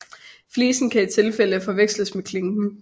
Flisen kan i tilfælde forveksles med klinken